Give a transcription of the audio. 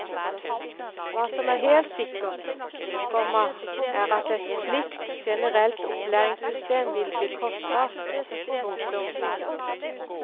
Hva som er helt sikkert, komma er at et slikt generelt opplæringssystem vil bli kostbart. punktum